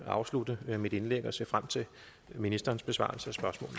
afslutte mit indlæg og se frem til ministerens besvarelse